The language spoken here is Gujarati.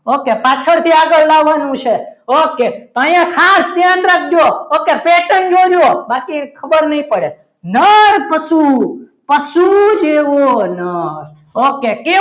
ઓકે પાછળથી આગળ લાવવાનું છે ઓકે અહીંયા ખાસ ધ્યાન રાખજો ઓકે pattern જોજો બાકી ખબર નહીં પડે નર માં શું પશુ જેવો નર okay